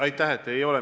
Aitäh!